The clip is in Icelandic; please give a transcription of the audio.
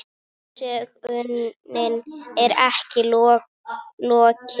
Sögunni er ekki lokið.